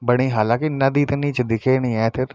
बणी हालाकि नदी त नी च दिखेनी ऐथर ।